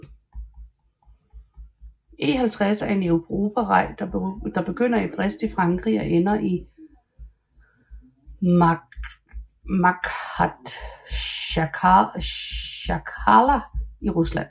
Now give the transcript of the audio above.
E50 er en europavej der begynder i Brest i Frankrig og ender i Makhatsjkala i Rusland